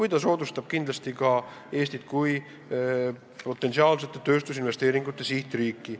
Ehk aitab see Eestit muuta potentsiaalsete tööstusinvesteeringute sihtriigiks.